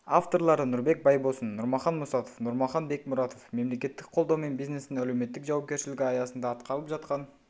авторлары нұрбек байбосын нұрмахан мұсатов нұрмахан бекмұратов мемлекеттік қолдау мен бизнестің әлеуметтік жауапкершілігі аясында атқарылып жатқан